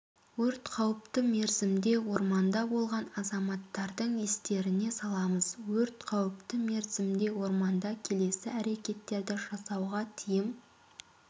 өрт қауіпті мерзімде орманда болған азаматтардың естеріне саламыз өрт қауіпті мерзімде орманда келесі әрекеттерді жасауға тыйым